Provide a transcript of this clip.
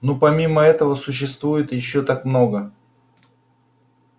ну и помимо этого существует ещё так много